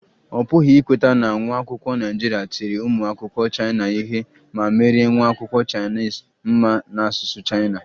Ọ pụghị ikweta na nwa akwụkwọ Naịjirịa tiri ụmụ akwụkwọ Chaina ihe ma merie nwa akwụkwọ kachasị mma na asụsụ Chaina